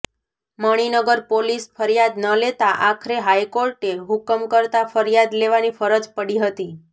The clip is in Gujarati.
મણિનગર પોલીસ ફરિયાદ ન લેતાં આખરે હાઇકોર્ટે હુકમ કરતા ફરિયાદ લેવાની ફરજ પડી હતી